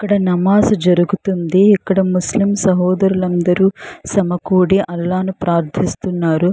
ఇక్కడ నమాజ్ జరుగుతుంది. ఇక్కడ ముస్లిం సహోదరులు అందరు సమకూడి అల్లాని ని ప్రార్థిస్తున్నారు.